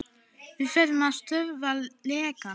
Þú verður að stöðva lekann.